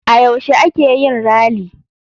A yaushe a keyin rally?